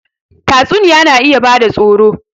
Tatsuniya na iya bada tsoro